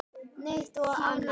Hörður skellti upp úr.